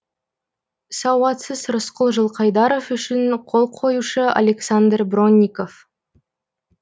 сауатсыз рысқұл жылқайдаров үшін қол қоюшы александр бронников